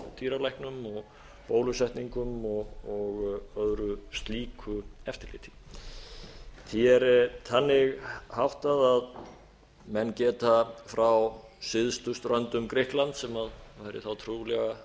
og bólusetningum og öðru slíku eftirliti því er þannig háttað að menn geta frá syðstu ströndum grikklands sem væri þá trúlega